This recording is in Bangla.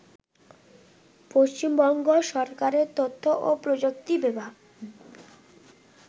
পশ্চিমবঙ্গ সরকারের তথ্য ও প্রযুক্তি বিভাগ